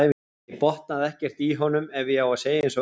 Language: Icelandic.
Ég botnaði ekkert í honum ef ég á að segja eins og er.